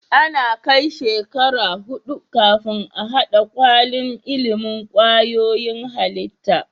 Ana Kai shekara hudu kafin a hada kwalin ilimin kwayoyin halitta